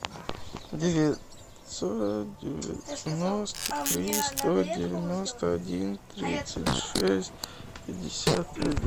девятьсот девяносто три сто девяносто один тридцать шесть пятьдесят один